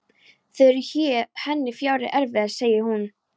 Þeir eru henni fjári erfiðir, segir hún.